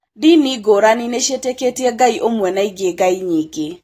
Ndini ngũrani nĩciĩtĩkĩtie Ngai ũmwe na ingĩ ngai nyingĩ